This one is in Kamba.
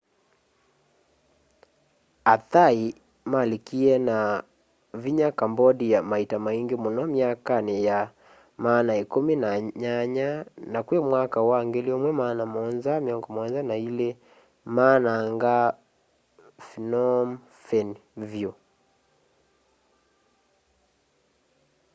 a thai malikie na vinya cambodia maita maingi muno myakani ya maana ikumi na nyanya na kwi mwaka wa 1772 maananga phnom phen vyu